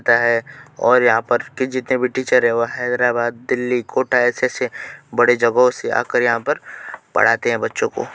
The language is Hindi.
और यहाँ पर जितने भी टीचर हैं वो हैदराबाद दिल्ली कोटा ऐसे-ऐसे बड़े जगहों से आकर यहाँ पर पढ़ाते है बच्चों को।